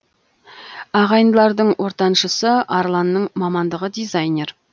ағайындылардың ортаншысы арланның мамандығы дизайнер